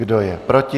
Kdo je proti?